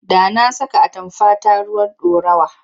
Da na saka atamfata ruwan ɗorawa.